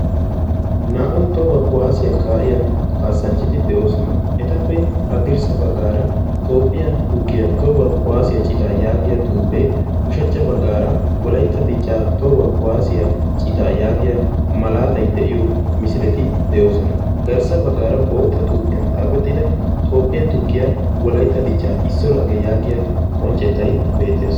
naa77u tohuwaa kuwaasiyaa kaa7iya kaassanchchati de7oosona. etappe addirssa baggaara toophphiyaa tukkiyaa tohuwaa kuwaasiyaa citaa yaagiya xuuphee ushachcha baggaara walaitta dichchaa tohuwaa kuwaasiyaa citaa yaagiya malaatai de7iyo misileti de7oosona. garssa baggaara bootta xuuphiyan xaafexxida toophphiyaa tukkiyaa wolaitta dichchaa issio lagge yaagiya qonccettai beettees.